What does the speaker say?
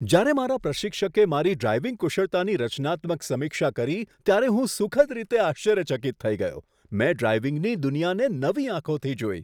જ્યારે મારા પ્રશિક્ષકે મારી ડ્રાઇવિંગ કુશળતાની રચનાત્મક સમીક્ષા કરી ત્યારે હું સુખદ રીતે આશ્ચર્યચકિત થઈ ગયો. મેં ડ્રાઇવિંગની દુનિયાને નવી આંખોથી જોઈ.